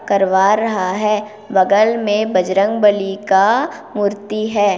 करवा रहा है बगल में बजरंगबली का मूर्ति है।